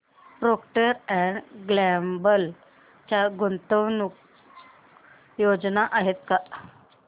Procter and Gamble च्या गुंतवणूक योजना आहेत का